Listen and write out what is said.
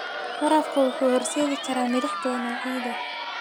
Waraabka wuxuu u horseedi karaa milix badan oo ciidda.